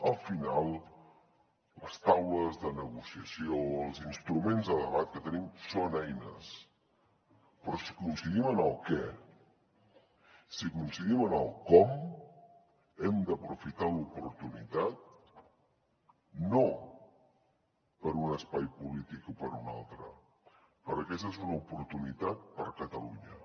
al final les taules de negociació els instruments de debat que tenim són eines però si coincidim en el què si coincidim en el com hem d’aprofitar l’oportunitat no per a un espai polític o per a un altre perquè aquesta és una oportunitat per a catalunya